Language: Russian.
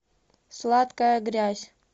сладкая грязь